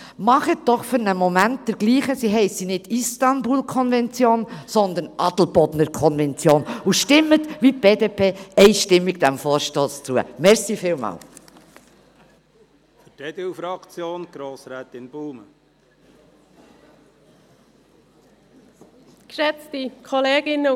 Tun Sie für einen Moment so, als hiesse sie nicht Istanbul-Konvention, sondern Adelbodner-Konvention und stimmen Sie, wie die BDP, dem Vorstoss einstimmig zu.